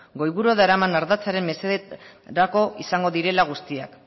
goiburuan daraman ardatzaren mesederako izango direla guztiak